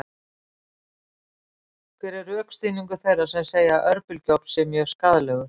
Hver er rökstuðningur þeirra sem segja að örbylgjuofn sé mjög skaðlegur?